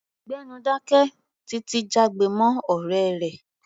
Gbẹ́nu dáké! Títi jágbe mọ́ ọ̀rẹ́ rẹ̀.